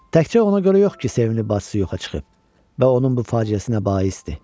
Təkcə ona görə yox ki, sevimli bacısı yoxa çıxıb və onun bu faciəsinə baisdir.